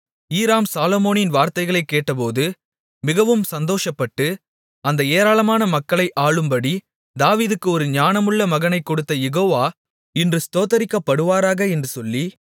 ஈராம் சாலொமோனின் வார்த்தைகளைக் கேட்டபோது மிகவும் சந்தோஷப்பட்டு அந்த ஏராளமான மக்களை ஆளும்படி தாவீதுக்கு ஒரு ஞானமுள்ள மகனைக் கொடுத்த யெகோவா இன்று ஸ்தோத்திரிக்கப்படுவாராக என்று சொல்லி